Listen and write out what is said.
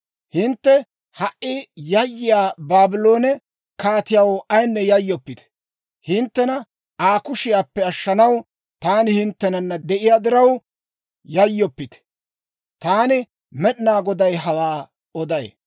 Hintte ha"i yayyiyaa Baabloone kaatiyaw ayinne yayyoppite! Hinttena Aa kushiyaappe ashshanaw taani hinttenanna de'iyaa diraw yayyoppite! Taani Med'inaa Goday hawaa oday.